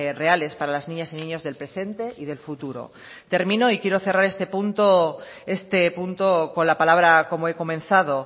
reales para las niñas y niños del presente y del futuro termino y quiero cerrar este punto con la palabra como he comenzado